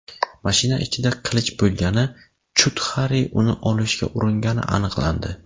Mashina ichida qilich bo‘lgani, Chudxari uni olishga uringani aniqlandi.